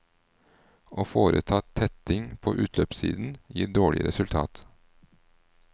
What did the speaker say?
Å foreta tetting på utløpssiden gir dårlig resultat.